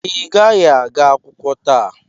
Ị gaghị aga akwụkwọ taa!